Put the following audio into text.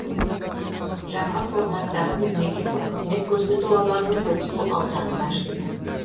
жаңа форматтағы мемлекеттік қызмет көрсету алаңы көксу ауданында ашылды